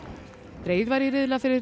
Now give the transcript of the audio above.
dregið var í riðla fyrir